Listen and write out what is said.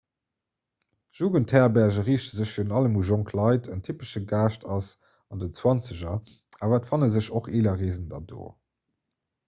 jugendherberge riichte sech virun allem u jonk leit en typesche gaascht ass an den zwanzeger awer et fanne sech och eeler reesender do